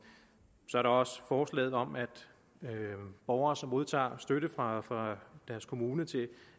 så er der også forslaget om at borgere som modtager støtte fra fra deres kommune til